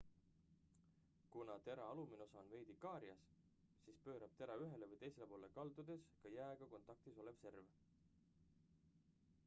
kuna tera alumine osa on veidi kaarjas siis pöörab tera ühele või teisele poole kaldudes ka jääga kontaktis olev serv